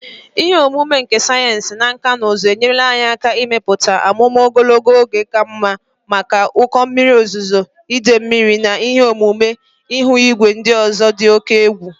Ihe ọmụma nke sayensị na nkà na ụzụ enyerela anyị aka ịmepụta amụma ogologo oge ka mma maka ụkọ mmiri ozuzo, idei mmiri, na ihe omume ihu igwe ndị ọzọ dị oke egwu